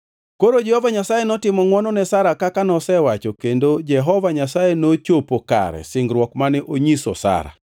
Koro Jehova Nyasaye notimo ngʼwono ne Sara kaka nosewacho kendo Jehova Nyasaye nochopo kare singruok mane osenyiso Sara.